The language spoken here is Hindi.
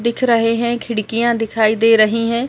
दिख रहे है खिड़कियाँ दिखाई दे रही है।